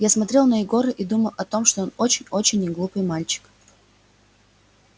я смотрел на егора и думал о том что он очень очень неглупый мальчик